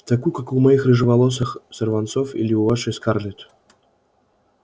такую как у моих рыжеволосых сорванцов или у вашей скарлетт